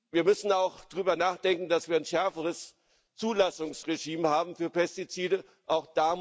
Wir müssen auch darüber nachdenken, dass wir ein schärferes Zulassungsregime für Pestizide haben.